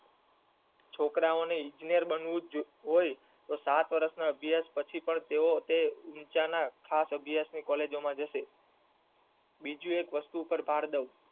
છોકરાવો ને ઈજનેર બનવું જ હોય તો સાત વર્ષ ના અભ્યાસ પછી પણ તેવો ખાસ અભ્યસો ની college માં જશે બીજું એક વસ્તુ ઉપર ભાર દવ